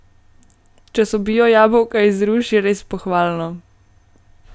Če so bio jabolka iz Ruš, je res pohvalno.